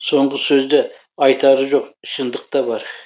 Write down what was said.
соңғы сөзде айтары жоқ шындық та бар